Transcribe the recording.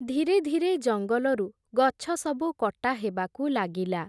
ଧୀରେ ଧୀରେ ଜଙ୍ଗଲରୁ ଗଛସବୁ କଟା ହେବାକୁ ଲାଗିଲା ।